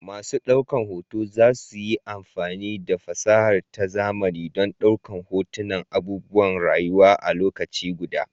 Masu daukar hoto za su yi amfani da fasaha ta zamani don ɗaukar hotunan abubuwan rayuwa a lokaci guda.